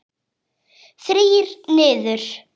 Þrír niður.